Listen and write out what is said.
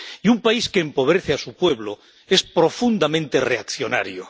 Y un país que empobrece a su pueblo es profundamente reaccionario.